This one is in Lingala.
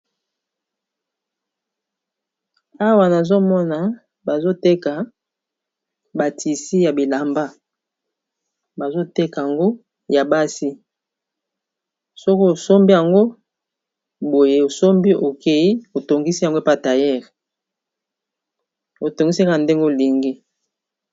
awa nazomona bazoteka batisi ya bilamba bazoteka yango ya basi soko osombi yango boye osombi okei otongisi yago epataillere otongisaka ndenge olingi